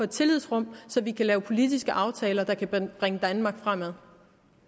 tillidsrum så vi kan lave politiske aftaler der kan bringe danmark fremad